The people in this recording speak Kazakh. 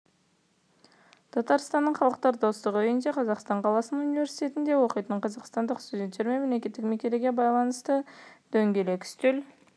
татарстанның халықтар достығы үйінде қазан қаласының университеттерінде оқитын қазақстандық студенттер мемлекеттік мерекеге байланысты дөңгелек үстел